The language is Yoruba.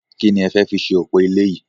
Ki ni e fẹ́ fi ṣe òpò ilé yìí?